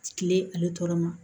Kile ale tɔɔrɔ ma